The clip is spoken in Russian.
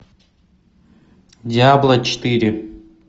диабло четыре